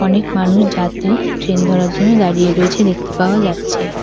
অনেক মানুষ যাত্রী ট্রেন ধরার জন্য দাঁড়িয়ে রয়েছে দেখতে পাওয়া যাচ্ছে।